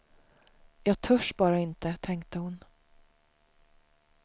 Jag törs bara inte, tänkte hon.